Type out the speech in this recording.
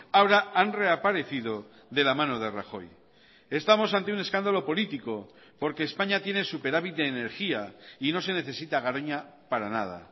ahora han reaparecido de la mano de rajoy estamos ante un escándalo político porque españa tiene superávit de energía y no se necesita garoña para nada